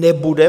Nebude.